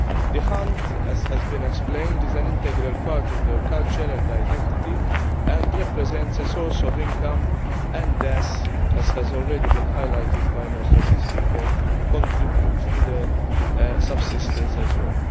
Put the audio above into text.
The hunt, as has been explained, is an integral part of their culture and identity and represents a source of income and, as has already been highlighted by most of the speakers, contributes to their subsistence as well.